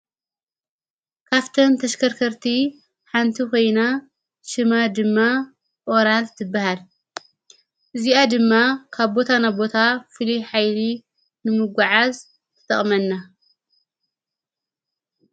ካፍተም ተሽከርከርቲ ሓንቲ ኾይና ሽመ ድማ ኦራል ትበሃል እዚኣ ድማ ካብ ቦታ ናቦታ ፍሉይ ኃይሊ ንምጐዓዝ ትተቕመና::